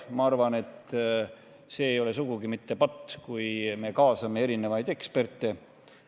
Ma arvan, et see ei ole sugugi mitte patt, kui me kaasame erinevaid eksperte.